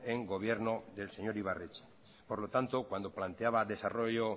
en gobierno del señor ibarretxe por lo tanto cuando planteaba desarrollo